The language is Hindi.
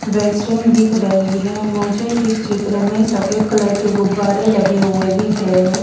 वेस्टर्न दिख रही हैं मुझे इस चित्र में सफेद कलर के गुब्बारे लगे हुए दिख रहे है।